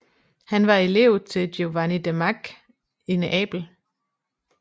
Han var elev til Giovanni de Macque i Neapel